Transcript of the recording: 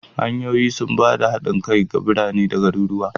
Hanyoyi sun ba da hanyar haɗin kai ga birane da garuruwa.